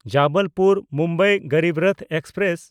Jabalpur-Mumbai ᱜᱚᱨᱤᱵᱨᱚᱛᱷ express